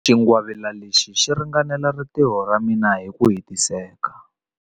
Xingwavila lexi xi ringanela rintiho ra mina hi ku hetiseka.